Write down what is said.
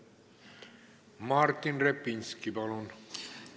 Martin Repinski, palun!